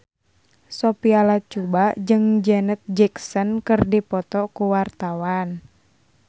Sophia Latjuba jeung Janet Jackson keur dipoto ku wartawan